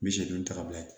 Misi duuru ta ka bila yen